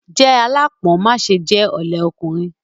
Jẹ́ aláápọn má ṣe jẹ́ ọ̀lẹ ọkùnrin.